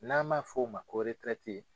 N'an ma fɔ o ma ko